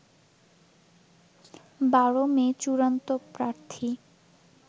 ১২ May চূড়ান্ত প্রার্থী